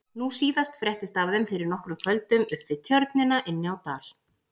Nú síðast fréttist af þeim fyrir nokkrum kvöldum upp við Tjörnina inni á Dal.